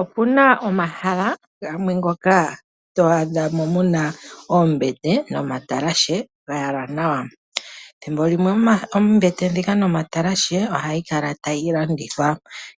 Opuna omahala gamwe ngoka to adha mo muna oombete nomatalashe ga yalwa nawa. Thimbolimwe oombete dhika nomatalashe ohayi kala tayi landithwa,